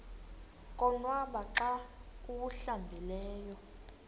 konwaba xa awuhlambileyo